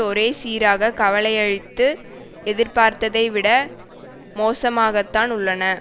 ஒரே சீராக கவலையளித்து எதிர்பார்த்ததை விட மோசமாகத்தான் உள்ளன